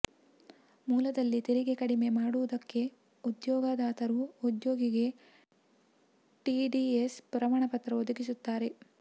ಮೂಲದಲ್ಲಿ ತೆರಿಗೆ ಕಡಿತ ಮಾಡಿರುವುದಕ್ಕೆ ಉದ್ಯೋಗದಾತರು ಉದ್ಯೋಗಿಗೆ ಟಿಡಿಎಸ್ ಪ್ರಮಾಣಪತ್ರ ಒದಗಿಸುತ್ತಾರೆ